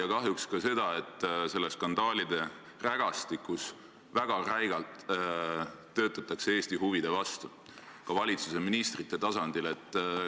Ja kahjuks selles skandaalide rägastikus töötatakse väga räigelt Eesti huvide vastu, ka valitsuse ministrite tasandil.